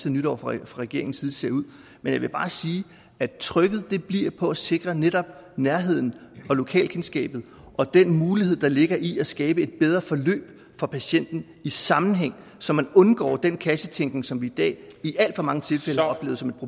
af nytår fra regeringen ser ud men jeg vil bare sige at trykket bliver på at sikre netop nærheden og lokalkendskabet og den mulighed der ligger i at skabe et bedre forløb for patienten i sammenhæng så man undgår den kassetænkning som vi i dag i alt for mange tilfælde har oplevet som